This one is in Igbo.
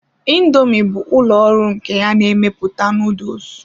Indoomi bụ ụlọ ọrụ nke ya na-emepụta noodles.